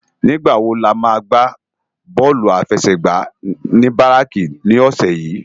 Nigbá wó lámá lò gbá bòlú áláfèsègbá ni báráki ni òsè yi?